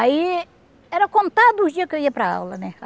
Aí, era contado os dias que eu ia para aula, né?